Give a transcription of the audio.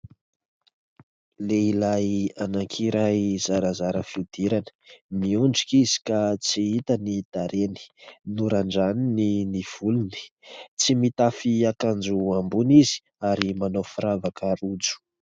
Lehilahy anakiray zarazara fiodirana, miondrika izy ka tsy hita ny tarehany, norandraniny ny volony, tsy mitafy akanjo ambony izy ary manao firavaka rojo.